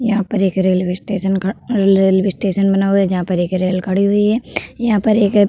यहाँ पर एक रेल्वे स्टेशन का रेल्वे स्टेशन बना हुआ है जहां पर एक रेल गाड़ी भी है। यहाँ पर एक --